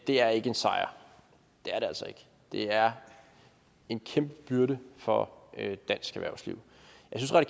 er ikke en sejr det er det altså ikke det er en kæmpe byrde for dansk erhvervsliv